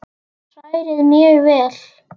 Hrærið mjög vel.